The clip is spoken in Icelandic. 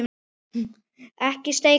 Ekki skeikar neinu.